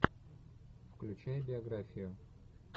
включай биографию